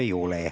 Ei ole.